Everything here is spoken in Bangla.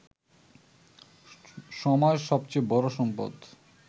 সময় সবচেয়ে বড় সম্পদ